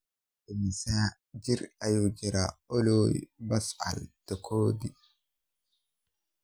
Immisa jir ayuu jiraa Olly Pascal Tokodi?